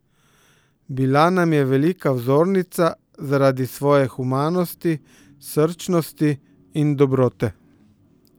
Bila nam je velika vzornica zaradi svoje humanosti, srčnosti in dobrote.